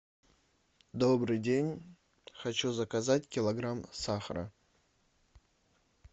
добрый день хочу заказать килограмм сахара